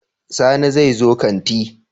Sani zai zo kanti?